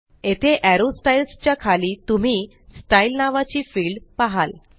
येथे arrow styles च्या खाली तुम्ही स्टाईल नावाची फिल्ड पहाल